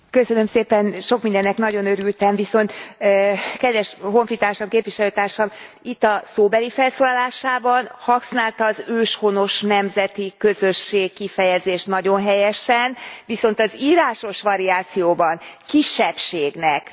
Sok mindennek nagyon örültem, viszont, kedves honfitársam, képviselőtársam itt a szóbeli felszólalásában használta az őshonos nemzeti közösség kifejezést nagyon helyesen, viszont az írásos variációban kisebbségnek nevezik.